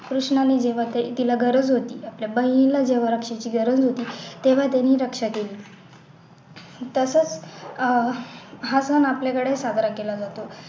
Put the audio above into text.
कृष्णाने जेव्हा ते तिला गरज होती जेव्हा पण तिला रक्षाची गरज होती तेव्हा त्यानी रक्षा केली तसंच अह हा सण आपल्याकडे साजरा केला जातो